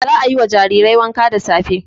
Za a yi wa jarirai wanka da safe.